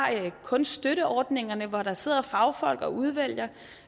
kunststøtteordningerne hvor der sidder fagfolk og udvælger